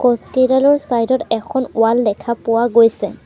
Post কেইডালৰ side ত এখন ৱাল দেখা পোৱা গৈছে।